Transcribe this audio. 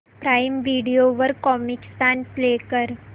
prime video वर Comicstaan play कर